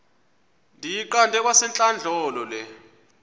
ndiyiqande kwasentlandlolo le